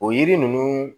O yiri ninnu